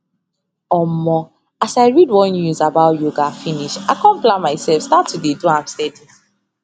omo as i read one news about yoga finish i com plan myself start to dey do am steady